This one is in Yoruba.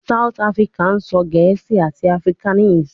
South Africa sọ Gẹẹsi ati afrikaans